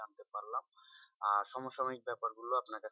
আর সমসাময়িক ব্যাপার গুলো আপনাকে,